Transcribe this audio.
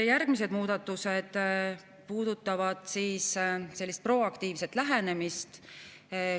Järgmised muudatused puudutavad proaktiivset lähenemist.